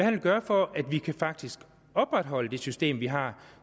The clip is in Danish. vil gøre for at vi faktisk kan opretholde det system vi har